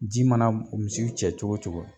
Ji mana misiw cɛ cogo cogo